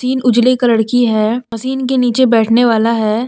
Machine उजले colour की है मशीन के नीचे बैठने वाला है।